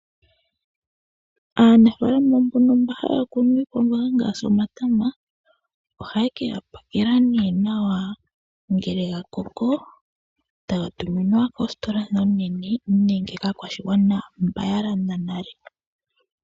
Aanafalama mbono mba haya kunu iikwamboga ngaashi omatama, ohaye ke ga pakela nee nawa ngele gakoko taga tuminwa koositola ndhi oonene, nenge kaakwashigwana mba yalanda nale.